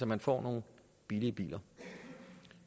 man får nogle billigere biler